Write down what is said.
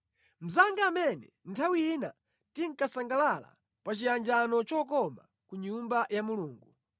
Mnzanga amene nthawi ina tinkasangalala pa chiyanjano chokoma ku nyumba ya Mulungu.